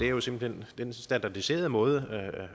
jo simpelt hen den standardiserede måde